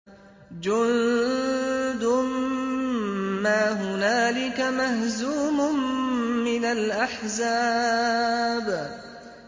جُندٌ مَّا هُنَالِكَ مَهْزُومٌ مِّنَ الْأَحْزَابِ